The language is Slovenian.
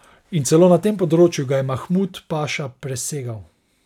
In celo na tem področju ga je Mahmud paša presegal.